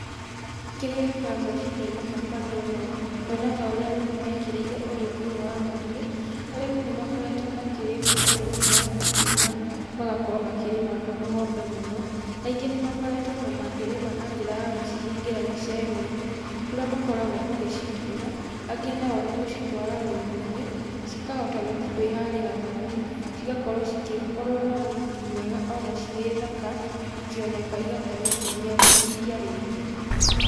Kĩrĩa gĩũkaga meciria-inĩ makwa ndona ũũ nyona ũrĩa arĩmi mekĩrĩire ũrĩmi ũyũ wa mahiũ. Arĩmi nĩmakoretwo makĩrima ũrimi ũyũ wa mahiũ na magakorwo makĩrĩma ng'ombe mũno, aingĩ nĩmakoretwo makĩrĩma na njĩra ya gũcihingĩra gĩcegũ-inĩ kũrĩa makoragwo magĩcituĩra. Angĩ na o nĩgũcitwara rũru-inĩ cikahota gũthiĩ kwĩharĩra mahuti cigakorwo cigĩkorwo na riri mwega na cirĩ thaka ikĩoneka igakorwo ikiumia iriia rĩingĩ.